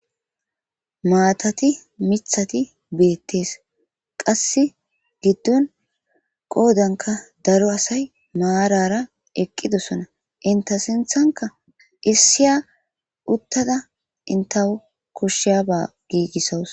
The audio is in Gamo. maatati mithati beettees qasse giddon qoodanka daro asay maarara eqqidosona inta sinthanka issiya uttada intawo koshshiyaba giigissawus